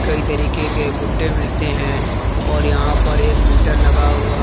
कई तरीके के गुड्डे मिलते हैं और यहां पर एक मीटर लगा हुआ--